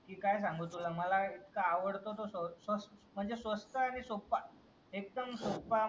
की काय सांगू तुला माला इतका अडवडतं स्वस म्हणजे स्वस्त आणि सोप्पा. एकदम सोप्पा म्हणजे